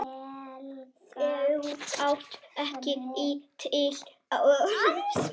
Þau áttu ekki til orð.